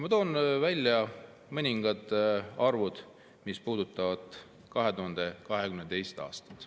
Ma toon välja mõningad arvud, mis puudutavad 2022. aastat.